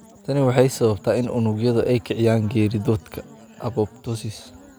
Tani waxay sababtaa in unugyadu ay kiciyaan geeridooda (apoptosis).